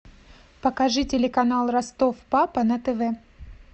покажи телеканал ростов папа на тв